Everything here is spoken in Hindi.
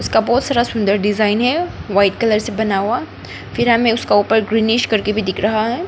इसका बहोत सारा सुंदर डिज़ाइन है वाइट कलर से बना हुआ फिर हमें उसका ऊपर ग्रीनीश करके भी दिख रहा है।